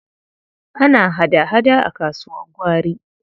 Ana hada-hada a kasuwar gwari.